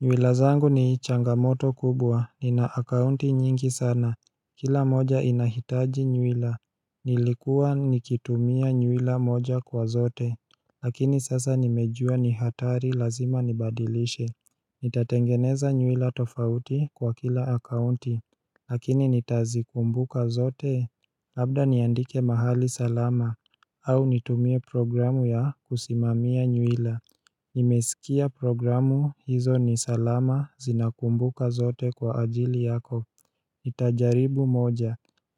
Nywila zangu ni changamoto kubwa, ni na akaunti nyingi sana Kila moja inahitaji nywila Nilikuwa nikitumia nywila moja kwa zote Lakini sasa nimejua ni hatari lazima nibadilishe Nitatengeneza nywila tofauti kwa kila akaunti Lakini nitazi kumbuka zote Labda niandike mahali salama au nitumie programu ya kusimamia nywila Nimesikia programu hizo nisalama zinakumbuka zote kwa ajili yako nitajaribu moja